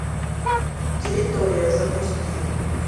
территория запусти